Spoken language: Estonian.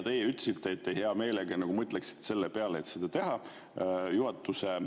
Teie ütlesite, et te hea meelega mõtlete selle peale, et seda teha.